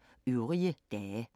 Samme programflade som øvrige dage